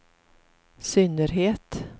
synnerhet